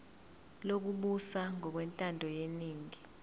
lokubusa ngokwentando yeningi